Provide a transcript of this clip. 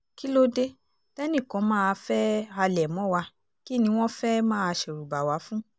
kí ló dé tẹ́nìkan máa fẹ́ẹ́ halẹ̀ mọ́ wa kí ni wọ́n fẹ́ẹ́ máa ṣẹ̀rùbà wa fún